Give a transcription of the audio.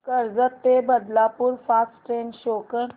कर्जत ते Badlapur fast train show कर